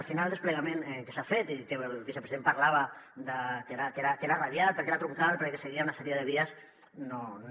al final el desplegament que s’ha fet i que el vicepresident parlava de que era radial perquè era troncal perquè seguia una sèrie de vies no